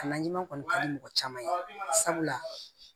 Kalan ɲuman kɔni ka di mɔgɔ caman ye sabula